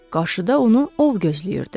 Qarşıda onu ov gözləyirdi.